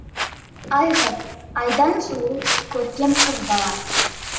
аи ғыз айдан сұлу көркем қыз бала